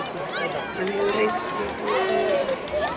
Hann hefur reynst mér ótrúlega vel.